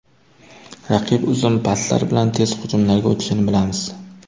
Raqib uzun paslar bilan tez hujumlarga o‘tishini bilamiz.